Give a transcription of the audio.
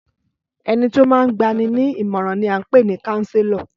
Ẹnití ó máa ń gbani ní ìmọ̀ràn ni à ń pè ni Káńsélọ̀